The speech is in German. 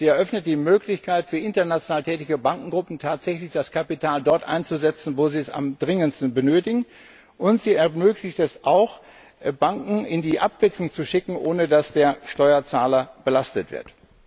Sie eröffnet die Möglichkeit für international tätige Bankengruppen, tatsächlich das Kapital dort einzusetzen, wo sie es am dringendsten benötigen. Und sie ermöglicht es auch, Banken in die Abwicklung zu schicken, ohne dass der Steuerzahler belastet wird.